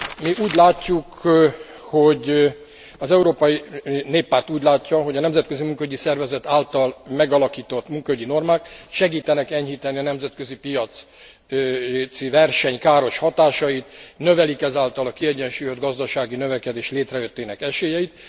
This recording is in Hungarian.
Mi úgy látjuk, az Európai Néppárt úgy látja, hogy a Nemzetközi Munkaügyi Szervezet által megalakított munkaügyi normák segítenek enyhíteni a nemzetközi piaci verseny káros hatásait, növelik ezáltal a kiegyensúlyozott gazdasági növekedés létrejöttének esélyeit.